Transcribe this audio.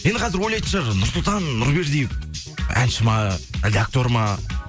енді қазір ойлайтын шығар нұрсұлтан нұрбердиев әнші ме әлде актер ма